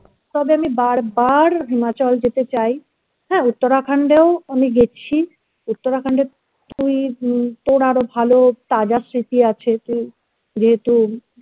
তবে আমি বারবার himachal যেতে চাই হ্যাঁ Uttarakhand এও আমি গেছি Uttarakhand এও তুই তোর আরো ভালো তাজা স্মৃতি আছে তুই যেহেতু